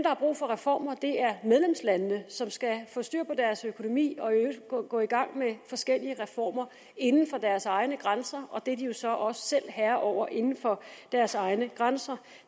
har brug for reformer er medlemslandene som skal få styr på deres økonomi og i øvrigt gå i gang med forskellige reformer inden for deres egne grænser og det er de jo så også selv herre over inden for deres egne grænser